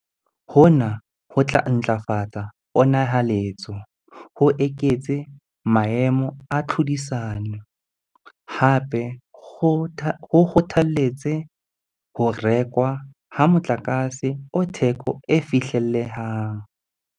Hona ho tla ntlafatsa pona-haletso, ho eketse maemo a tlhodisano, hape ho kgotha-letse ho rekwa ha motlakase o theko e fihlellehang.